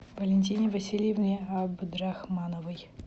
валентине васильевне абдрахмановой